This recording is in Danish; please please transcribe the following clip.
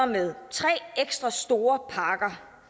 med tre ekstra store parker